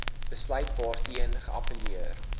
besluit waarteen geappelleer